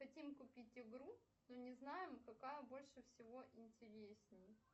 хотим купить игру но не знаем какая больше всего интересней